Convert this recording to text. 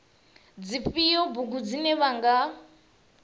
dzifhio bugu dzine vha nga